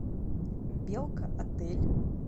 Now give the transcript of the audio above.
белка отель